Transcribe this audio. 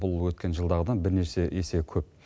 бұл өткен жылдағыдан бірнеше есе көп